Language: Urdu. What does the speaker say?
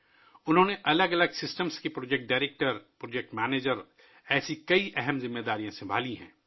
انہوں نے پروجیکٹ ڈائریکٹر، مختلف سسٹمز کے پروجیکٹ مینیجر جیسی کئی اہم ذمہ داریاں نبھائی ہیں